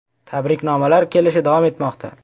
Tabriknomalar kelishi davom etmoqda.